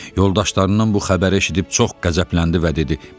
Yoldaşlarından bu xəbəri eşidib çox qəzəbləndi və dedi: